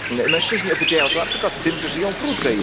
Mężczyźni okupiają to na przykład tym, że żyją krócej.